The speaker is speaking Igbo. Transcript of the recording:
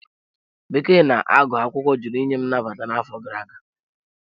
Bekee na agụ akwụkwọ jụrụ inye m nnabata n'afọ gara aga.